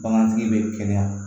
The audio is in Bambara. Bagantigi bɛ kɛnɛya